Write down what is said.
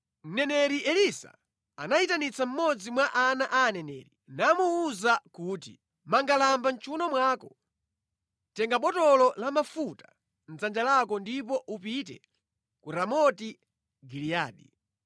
Mneneri Elisa anayitanitsa mmodzi mwa ana a aneneri, namuwuza kuti, “Manga lamba mʼchiwuno mwako, tenga botolo la mafuta mʼdzanja lako ndipo upite ku Ramoti Giliyadi.